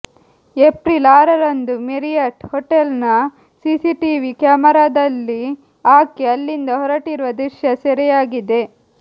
April ಆರರಂದು Marriott hotel ನ CCTV ಕ್ಯಾಮೆರಾದಲ್ಲಿ ಆಕೆ ಅಲ್ಲಿಂದ ಹೊರಟಿರುವ ದೃಶ್ಯ ಸೆರೆಯಾಗಿದೆ